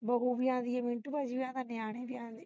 ਬਹੁ ਵੀ ਆਉਂਦੀ ਹੈ ਮਿੰਟੂ ਭਾਗੀ ਵੀ ਆਉਂਦਾ ਹੈ ਨਿਆਣੇ ਵੀ ਆਉਂਦੇ